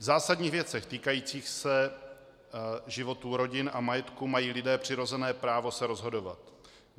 V zásadních věcech týkajících se životů rodin a majetků mají lidé přirozené právo se rozhodovat.